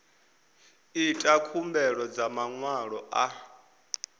ita khumbelo dza maṅwalo a